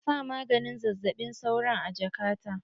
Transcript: Ka sa maganin zazzaɓin sauron a jaka ta!